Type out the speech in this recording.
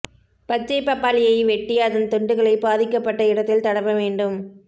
பச்சை பப்பாளியை வெட்டி அதன் துண்டுகளை பாதிக்கப்பட்ட இடத்தில் தடவ வேண்டும்